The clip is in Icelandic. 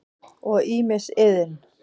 og ýmis iðn.